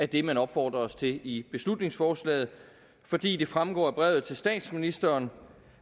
det man opfordres til i beslutningsforslaget fordi det fremgår af brevet til statsministeren